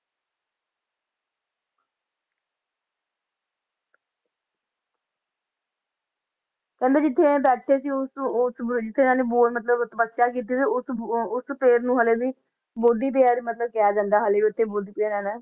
ਕਹਿੰਦੇ ਜਿੱਥੇ ਇਹ ਬੈਠੇ ਸੀ ਉਸ ਉਸ ਬਰ~ ਜਿੱਥੇ ਇਹਨਾਂ ਨੇ ਬੋਧ ਮਤਲਬ ਤਪੱਸਿਆ ਕੀਤੀ ਸੀ ਉਸ, ਉਹ ਉਸ ਪੇੜ ਨੂੰ ਹਾਲੇ ਵੀ ਬੋਧੀ ਪੇੜ ਮਤਲਬ ਕਿਹਾ ਜਾਂਦਾ ਹੈ ਹਾਲੇ ਵੀ ਉੱਥੇ ਬੁੱਧ ਇਹਨਾਂ ਨੇ,